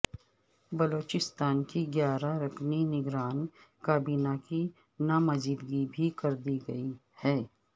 بلوچستان کی گیارہ رکنی نگران کابینہ کی نامزدگی بھی کر دی گئی ہے